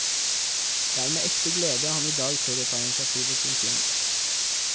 Det er med ekte glede han i dag tør å ta initiativet til en klem.